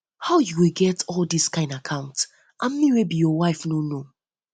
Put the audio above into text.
how you go get all dis all dis account and me wey be your wife no know